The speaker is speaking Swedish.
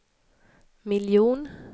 miljon